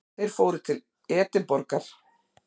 Þeir fóru til Edinborgar.